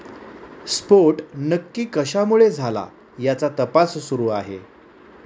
स्फोट नक्की कशामुळे झाला, याचा तपास सुरू आहे.